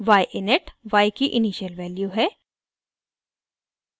y init y की initial value है